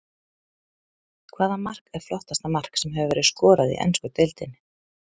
Hvaða mark er flottasta mark sem hefur verið skorað í ensku deildinni?